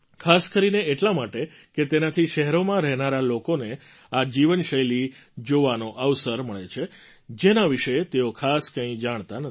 ખાસ કરીને એટલા માટે કે તેનાથી શહેરોમાં રહેનારા લોકોને એ જીવનશૈલી જોવાનો અવસર મળે છે જેના વિશે તેઓ ખાસ કંઈ જાણતા નથી